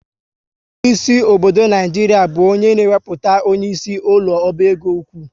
Onyeisi obodo Naijiria bụ onye na ewepụta onyeisi ụlọ oba égo ụkwụ